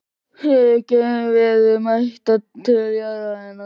Eru geimverur mættar til jarðarinnar?